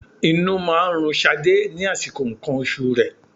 Inú máa ń run Ṣadé ní àsìkò nǹkan oṣù rẹ.